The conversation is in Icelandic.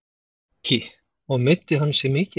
Breki: Og meiddi hann sig mikið?